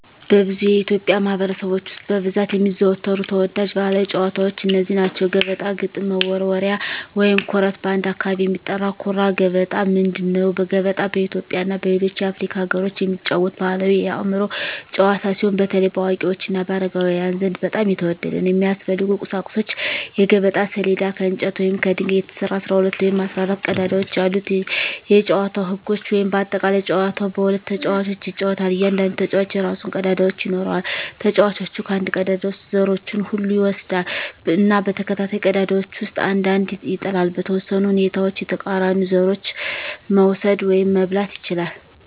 በብዙ የኢትዮጵያ ማኅበረሰቦች ውስጥ በብዛት የሚዘወተሩ ተወዳጅ ባሕላዊ ጨዋታዎች እነዚህ ናቸው፦ ገበጣ ግጥም መወርወሪያ / ኩርት (በአንዳንድ አካባቢ የሚጠራ) ኩራ ገበጣ ምንድን ነው? ገበጣ በኢትዮጵያ እና በሌሎች የአፍሪካ አገሮች የሚጫወት ባሕላዊ የአእምሮ ጨዋታ ሲሆን፣ በተለይ በአዋቂዎች እና በአረጋውያን ዘንድ በጣም የተወደደ ነው። የሚያስፈልጉ ቁሳቁሶች የገበጣ ሰሌዳ: ከእንጨት ወይም ከድንጋይ የተሰራ፣ 12 ወይም 14 ቀዳዳዎች ያሉት የጨዋታው ህጎች (በአጠቃላይ) ጨዋታው በሁለት ተጫዋቾች ይጫወታል። እያንዳንዱ ተጫዋች የራሱን ቀዳዳዎች ይኖራል። ተጫዋቹ ከአንድ ቀዳዳ ውስጥ ዘሮቹን ሁሉ ይወስዳል እና በተከታታይ ቀዳዳዎች ውስጥ አንድ አንድ ይጥላል። . በተወሰኑ ሁኔታዎች የተቃራኒውን ዘሮች መውሰድ (መብላት) ይችላል።